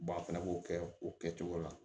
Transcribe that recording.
a fɛnɛ b'o kɛ o kɛcogo la